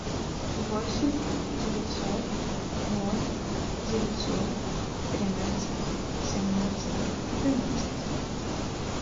восемь девятьсот ноль девятьсот тринадцать семнадцать двенадцать